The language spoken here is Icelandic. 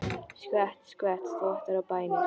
Skvett, skvett, þvottar og bænir.